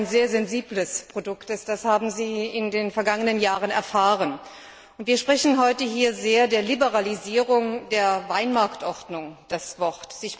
Dass Wein ein sehr sensibles Produkt ist, das haben Sie in den vergangenen Jahren erfahren. Wir reden heute hier sehr der Liberalisierung der Weinmarktordnung das Wort.